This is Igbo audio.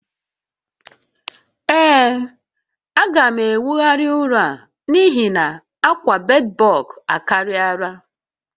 Ee, a ga m enwogharị ụlọ a n'ihi na akwa bedbug akariala